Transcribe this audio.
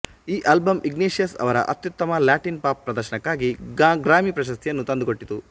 ಈ album Iglesias ಅವರ ಅತ್ಯುತ್ತಮ ಲ್ಯಾಟಿನ್ ಪಾಪ್ ಪ್ರದರ್ಶನಕ್ಕಾಗಿ ಗ್ರಾಮಿ ಪ್ರಶಸ್ತಿಯನ್ನು ತಂದುಕೊಟ್ಟಿತು